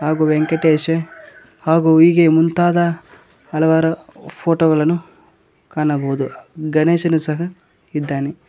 ಹಾಗು ವೆಂಕಟೇಶ ಹಾಗು ಹೀಗೆ ಮುಂತಾದ ಹಲವಾರು ಫೋಟೋ ಗಳನ್ನು ಕಾಣಬಹುದು ಗಣೇಶನು ಸಹ ಇದ್ದಾನೆ.